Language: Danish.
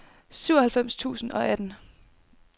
syvoghalvfems tusind og atten